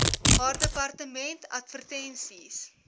haar departement advertensies